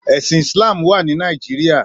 Èsín Islam wá ni Nàijiriá